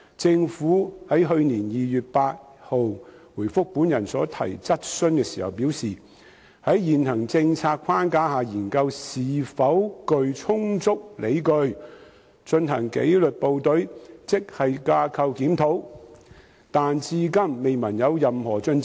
政府於去年2月8日回覆本人所提質詢時表示，會"在現行政策框架下研究是否具充足理據進行[紀律部隊]職系架構檢討"，但至今未聞任何進展。